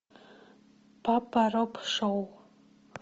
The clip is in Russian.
папа роб шоу